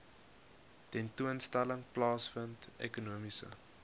tentoonstelling plaasvind ekonomiese